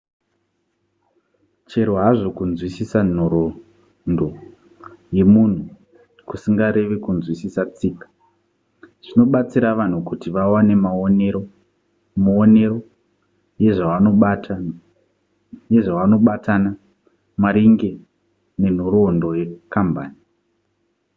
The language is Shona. chero hazvo kunzwisisa nhoroondo yemunhu kusingareve kunzwisiswa tsika zvinobatsira vanhu kuti vawane muonero yezvavanozobatana maringe nenhoroondo yekambani